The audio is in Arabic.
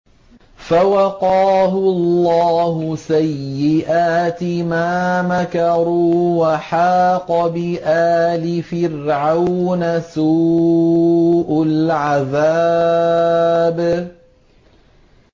فَوَقَاهُ اللَّهُ سَيِّئَاتِ مَا مَكَرُوا ۖ وَحَاقَ بِآلِ فِرْعَوْنَ سُوءُ الْعَذَابِ